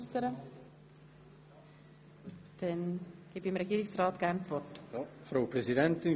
Wünscht der Regierungsrat nochmals das Wort?